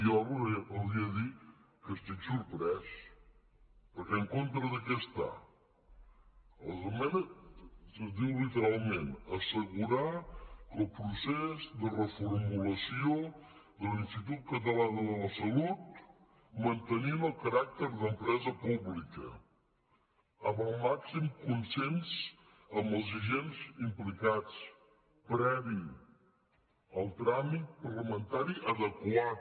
jo els hauria de dir que estic sorprès perquè en contra de què està les esmenes diuen literalment assegurar el procés de reformulació de l’institut català de la salut mantenint el caràcter d’empresa pública amb el màxim consens amb els agents implicats previ al tràmit parlamentari adequat